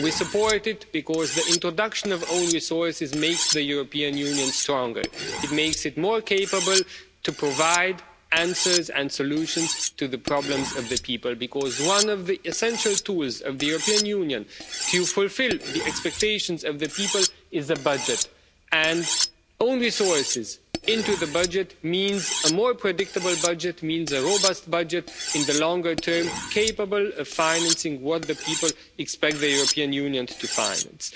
We support it because the introduction of own resources makes the European Union stronger, it makes it more capable to provide answers and solutions to the problems of the people, because one of the essential tools of the European Union to fulfil the expectations of the people is the budget. And own resources into the budget means a more predictable budget, which means a robust budget in the longer term, capable of financing what the people expect the European Union to finance.